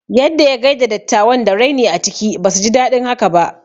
Yadda ya gaida dattawan da raini a ciki, basu ji daɗin haka ba